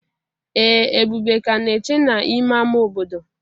Ee Ebube ka na-eche n'ime ámá obodo.